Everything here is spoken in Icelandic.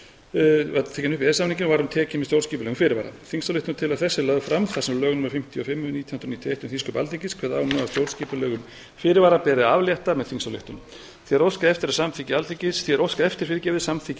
e e s samninginn var hún tekin með stjórnskipulegum fyrirvara þingsályktunartillaga þessi er lögð fram þar sem lög númer fimmtíu og fimm nítján hundruð níutíu og eitt um þingsköp alþingis kveða á um stjórnskipulegum fyrirvara beri að aflétta með þingsályktun því er óskað eftir samþykki